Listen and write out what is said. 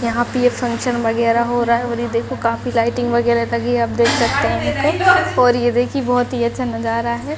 यहाँ पे ये फंक्शन वगेरा हो रहा है और ये देखो काफी लाइटिंग वगेरा लगी है आप देख सकते है यहाँ पर और ये देखिए बहुत ही अच्छा नजारा है।